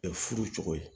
furu cogo ye